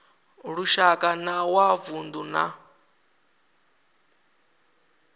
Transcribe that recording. lushaka na wa vundu na